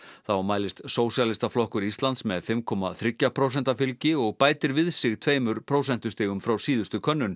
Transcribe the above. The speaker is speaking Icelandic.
þá mælist Sósíalistaflokkur Íslands með fimm komma þriggja prósenta fylgi og bætir við sig tveimur prósentustigum frá síðustu könnun